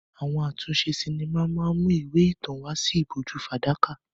Àwọn àtúnṣe sinimá máa ń mú ìwé ìtàn wá sí ìbòjú fàdákà.